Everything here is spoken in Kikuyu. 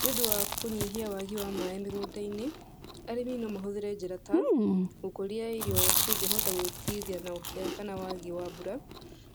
Nĩũndũ wa kũnyihia waagi wa maĩ mĩgũnda-inĩ, arĩmi no mahũthĩre njĩra ta, gũkũria irio cingĩhota gwĩtiria na ũkia kana waagi wa mbura,